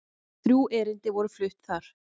Þrjú erindi voru flutt þar